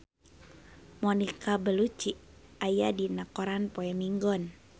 Monica Belluci aya dina koran poe Minggon